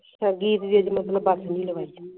ਜੀਤ ਜੀਤ ਮਤਲਬ ਬਾਕੀ ਭੀ ਲਾਵਈ